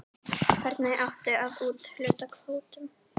Hvernig átti að úthluta kvótum?